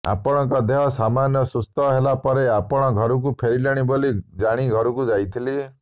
ଆପଣଙ୍କ ଦେହ ସାମାନ୍ୟ ସୁସ୍ଥ ହେଲା ପରେ ଆପଣ ଘରକୁ ଫେରିଲେଣି ବୋଲି ଜାଣି ଘରକୁ ଯାଇଥିଲି